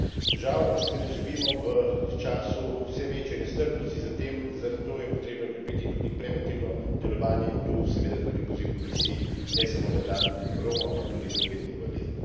Žal pa seveda živimo v času vse večje nestrpnosti, zato je treba okrepiti tudi preventivno delovanje in tu seveda tudi poziv Komisiji, ne samo na dan Romov, ampak tudi druge dni v letu.